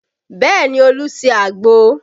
Bẹẹ ni, Olu ṣe àgbo